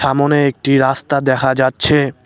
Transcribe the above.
সামোনে একটি রাস্তা দেখা যাচ্ছে।